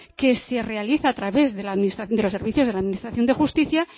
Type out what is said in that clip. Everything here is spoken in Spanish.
que se realiza a través de los servicios de la administración de justicia